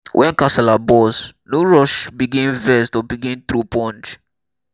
when kasala burst no rush begin vex or begin throw punch